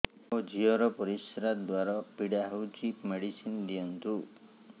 ମୋ ଝିଅ ର ପରିସ୍ରା ଦ୍ଵାର ପୀଡା ହଉଚି ମେଡିସିନ ଦିଅନ୍ତୁ